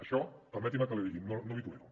això permeti’m que l’hi digui no l’hi tolero